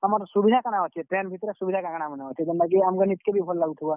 ଆମର୍ ସୁବିଧା କାଣା ଅଛେ train ଭିତ୍ ରେ ସୁବିଧା କା କାଣା ମାନେ ଅଛେ, ଜେନ୍ତା କି ଆମ୍ କୁ ନିଜ୍ କେ ବି ଭଲ୍ ଲାଗୁଥିବା?